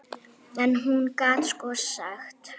En hún gat sko sagt.